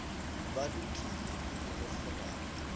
ba lokile pele le fulara